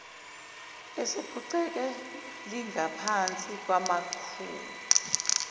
esephuceke lingaphansi kwamakhulu